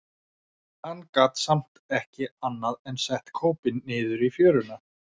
Hann gat samt ekki annað en sett kópinn niður í fjöruna.